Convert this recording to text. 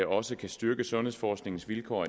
også kan styrke sundhedsforskningens vilkår